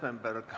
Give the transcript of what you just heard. Palun!